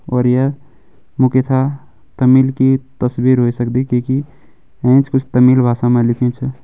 और य मुकेसा तमिल की तस्वीर ह्वे सकदी कि कि एैंच कुछ तमिल भासा मा लिख्युं चा।